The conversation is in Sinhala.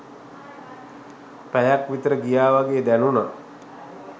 පැයක් විත‍ර ගියා වගේ දැනුනා.